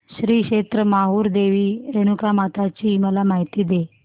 श्री क्षेत्र माहूर देवी रेणुकामाता ची मला माहिती दे